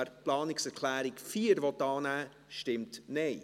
wer die Planungserklärung 4 annehmen will, stimmt Nein.